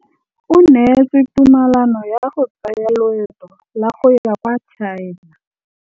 O neetswe tumalanô ya go tsaya loetô la go ya kwa China.